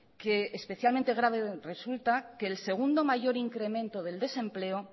que especialmente grave resulta que el segundo mayor incremento del desempleo